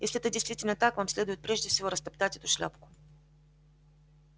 если это действительно так вам следует прежде всего растоптать эту шляпку